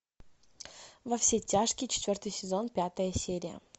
во все тяжкие четвертый сезон пятая серия